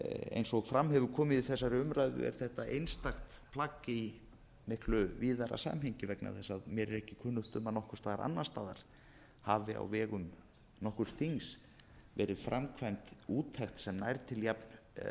eins og fram hefur komið í þessari umræðu er þetta einstakt plagg í miklu víðara samhengi vegna þess að mér er ekki kunnugt um að neins staðar annars staðar hafi á vegum nokkurs þings verið framkvæmd úttekt sem nær til jafnfjölmargra og